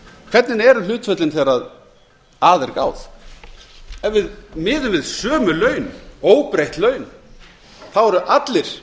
hvernig eru hlutföllin þegar að er gáð ef við miðum við sömu laun óbreytt laun þá eru allir